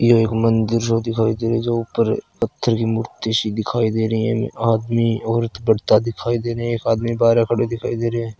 यो एक मन्दिर ओ दिखाई देरे जो ऊपर पत्थर की मूर्ति शी दिखाई दे रई ए आदमी औरत बड़ता दिखाई देरे ए एक आदमी बारे खड़े दिखाई देरे ए।